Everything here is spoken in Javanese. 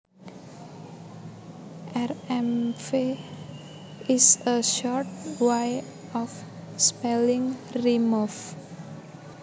Rmv is a short way of spelling remove